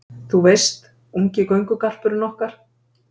Þú veist, ungi göngugarpurinn okkar